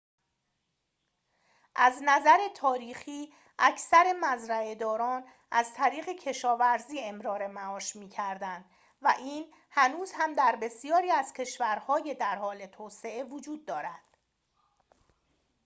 از نظر تاریخی اکثر مزرعه‌داران از طریق کشاورزی امرار معاش می‌کردند و این هنوز هم در بسیاری از کشورهای در حال توسعه وجود دارد